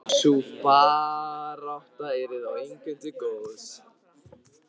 Sú barátta yrði þó engum til góðs.